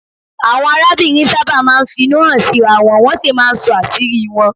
Àwọn arábìnrin sábà máa ń finú hàn síra wọn, wọ́n sì máa ń sọ àṣírí wọn